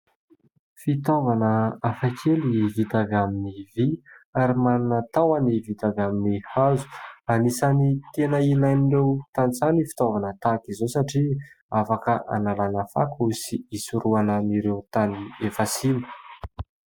Fitaovana hafakely vita avy amin'ny vy ary manana tahony vita avy amin'ny hazo. Anisany tena ilain'ireo tanintsaha ny fitaovana tahaka izao satria afaka analana fako sy isorohanan'ireo tany efa simba.